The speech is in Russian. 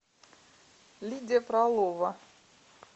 лидия фролова